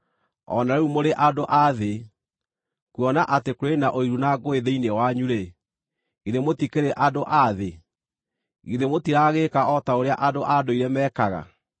O na rĩu mũrĩ andũ a thĩ. Kuona atĩ kũrĩ na ũiru na ngũĩ thĩinĩ wanyu-rĩ, githĩ mũtikĩrĩ andũ a thĩ? Githĩ mũtiragĩĩka o ta ũrĩa andũ a ndũire mekaga?